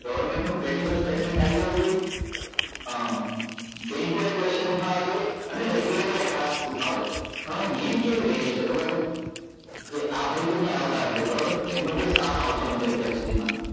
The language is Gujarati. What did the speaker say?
Government નું statement આયી જવું જોઈએ અ bank ઓ એ question ઉઠવવા જોઈએ અને regulator એ ખાસ ઉઠાવવા જોઈએ પણ હવે game કેવી રહી ગઈ છે ખબર છે કે આપડે તો કોઈ આવતા નથી બરાબર એકે એમનો કોઈ staff આવતો નથી અત્યાર સુધી માં